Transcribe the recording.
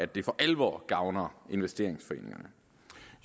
det for alvor gavner investeringsforeningerne